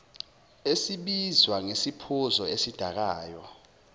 esibizwa ngesiphuzo esidakayo